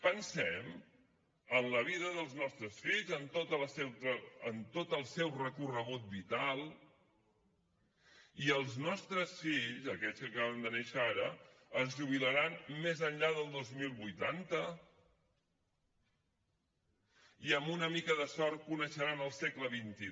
pensem en la vida dels nostres fills en tot el seu recorregut vital i els nostres fills aquells que acaben de néixer ara es jubilaran més enllà del dos mil vuitanta i amb una mica de sort coneixeran el segle xxii